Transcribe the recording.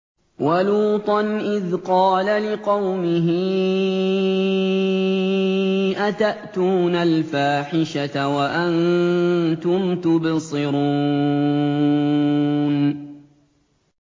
وَلُوطًا إِذْ قَالَ لِقَوْمِهِ أَتَأْتُونَ الْفَاحِشَةَ وَأَنتُمْ تُبْصِرُونَ